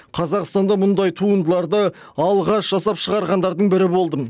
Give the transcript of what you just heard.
қазақстанда мұндай туындыларды алғаш жасап шығарғандардың бірі болдым